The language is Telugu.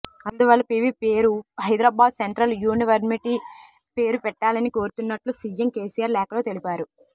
అందువల్ల పివి పేరు హైదరాబాద్ సెంట్రల్ యూనివర్శిటీ పేరు పెట్టాలని కోరుతున్నట్లు సిఎం కెసిఆర్ లేఖలో తెలిపారు